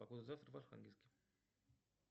погода завтра в архангельске